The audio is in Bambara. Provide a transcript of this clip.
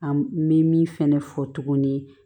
An bɛ min fɛnɛ fɔ tuguni